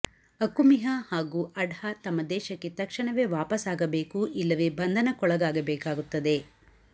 ಅಕುಮಿಹಾ ಹಾಗೂ ಅಡ್ಝಾ ತಮ್ಮ ದೇಶಕ್ಕೆ ತಕ್ಷಣವೇ ವಾಪಸಾಗಬೇಕು ಇಲ್ಲವೇ ಬಂಧನಕ್ಕೊಳಗಾಗಬೇಕಾಗುತ್ತದೆ